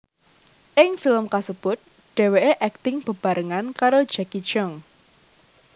Ing film kasebut dheweké akting bebarengan karo Jacky Cheung